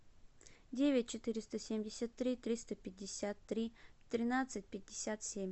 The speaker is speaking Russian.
девять четыреста семьдесят три триста пятьдесят три тринадцать пятьдесят семь